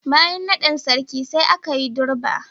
Bayan naɗin Sarki, sai aka yi Durbar.